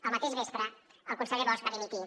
el mateix vespre el conseller bosch va dimitir